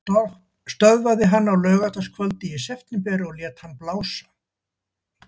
Lögreglan stöðvaði hann á laugardagskvöldi í september og lét hann blása.